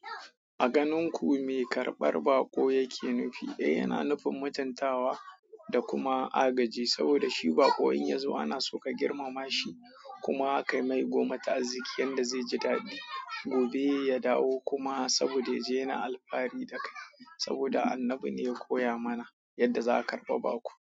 A ganin ku me karɓar baƙo yake nufi? Eh, yana nufin mutuntawa da kuma agaji, saboda shi baƙo in ya zo ana so ka girmama shi kuma aka mai goma ta arziƙi yanda zai ji daɗi. Gobe ya dawo kuma saboda ya je na alfahari da kai. Saboda Annabi ne ya koya mana yadda za ka karɓa baƙo.